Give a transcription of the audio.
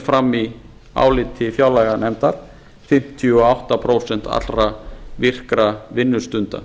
fram í áliti fjárlaganefndar fimmtíu og átta prósent allra virkra vinnustunda